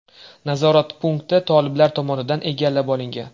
Nazorat punkti toliblar tomonidan egallab olingan.